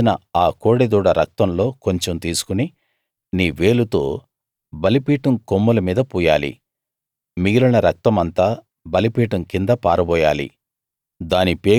వధించిన ఆ కోడెదూడ రక్తంలో కొంచెం తీసుకుని నీ వేలుతో బలిపీఠం కొమ్ముల మీద పూయాలి మిగిలిన రక్తమంతా బలిపీఠం కింద పారబోయాలి